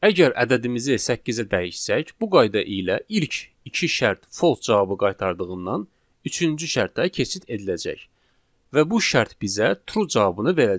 Əgər ədədimizi səkkizə dəyişsək, bu qayda ilə ilk iki şərt false cavabı qaytardığından, üçüncü şərtə keçid ediləcək və bu şərt bizə true cavabını verəcək.